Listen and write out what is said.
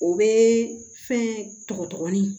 O bɛ fɛn tɔgɔ ɲini